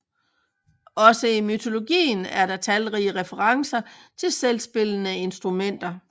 Også i mytologien er der talrige referencer til selvspillende instrumenter